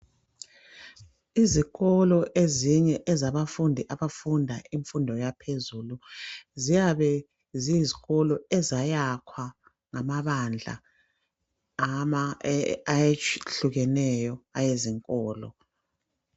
Izikolo ezinye ezabafundi abafunda imfundo yaphezulu ziyabe ziyizikolo ezayakhwa ngamabandla ayehlukeneyo awezinkolo.